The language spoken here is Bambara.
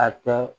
A kɛ